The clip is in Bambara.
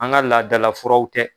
An ka laadala furaw